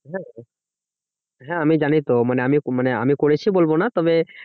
হ্যাঁ আমি জানি তো মানে আমি মানে আমি করেছি বলবো না তবে